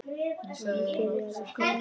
Og nú byrjaði hún.